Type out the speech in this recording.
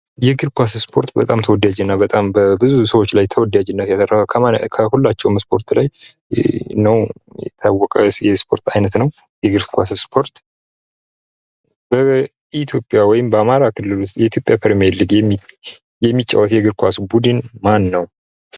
የእግር ኳስ ስፖርት በጣም ተወዳጅና በጣም በብዙ ሰዎችላይ ተወዳጅነት ያተርፍ ከሁላቸው ስፖርት ላይ ነው የታወቀ ስፖርት አይነት ነው። የእግር ኳስ ስፖርት ኢትዮጵያ ወይም በአማራ ክልል ውስጥ የኢትዮጵያ ፕርሜርሊግ የሚጫወት የእግር ኳስ ቡድን ማን ነው?